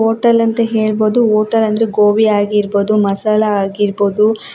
Hotel ಅಂತ ಹೇಳ್ಬಹುದು hotel ಅಂದ್ರೆ ಗೋಬಿ ಆಗಿರ್ಬಹುದು ಮಸಾಲಾ ಆಗಿರ್ಬಹುದು.